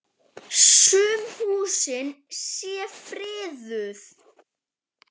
Sum húsin séu friðuð.